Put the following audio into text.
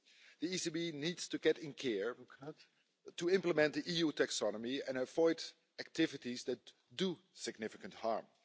The ECB needs to get in gear to implement the EU taxonomy and avoid activities that do significant harm'.